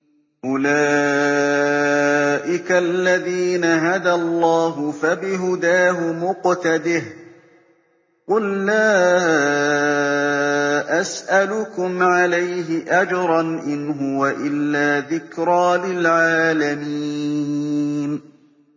أُولَٰئِكَ الَّذِينَ هَدَى اللَّهُ ۖ فَبِهُدَاهُمُ اقْتَدِهْ ۗ قُل لَّا أَسْأَلُكُمْ عَلَيْهِ أَجْرًا ۖ إِنْ هُوَ إِلَّا ذِكْرَىٰ لِلْعَالَمِينَ